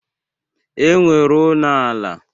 E nwere ụnọ ala.